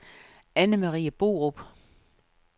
Annemarie Borup